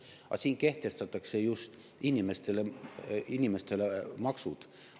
Aga siin kehtestatakse just inimestele maksud.